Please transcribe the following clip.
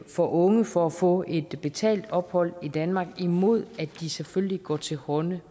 for unge for at få et betalt ophold i danmark imod at de selvfølgelig går til hånde